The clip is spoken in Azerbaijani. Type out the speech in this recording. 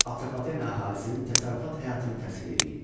Atropatena əhalisinin təsərrüfat həyatını təsvir eləyin.